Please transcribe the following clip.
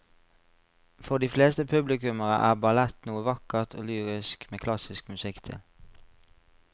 For de fleste publikummere er ballett noe vakkert og lyrisk med klassisk musikk til.